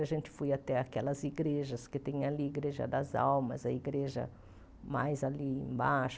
A gente foi até aquelas igrejas que tem ali, Igreja das Almas, a igreja mais ali embaixo.